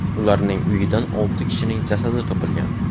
Ularning uyidan olti kishining jasadi topilgan.